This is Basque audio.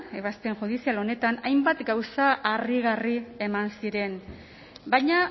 ebazpen judizial honetan hainbat gauza harrigarri eman ziren baina